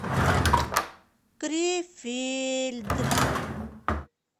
крефельд